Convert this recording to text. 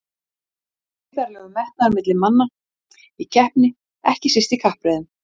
Rafnkell, hvenær kemur leið númer fjörutíu?